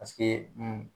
Paseke n